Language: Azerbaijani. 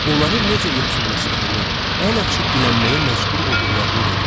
Onların necə yoxsullaşdığını, əl açıb dilənməyə məcbur olduqlarını dedi.